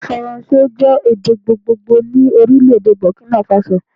Èdè faransé jé èdè gbogbogbò ni Orílèdè Bòkínà Fasò